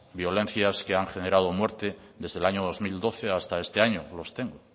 violencias que han generado muerte desde el año dos mil doce hasta este año los tengo